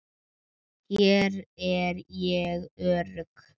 Hér er ég örugg.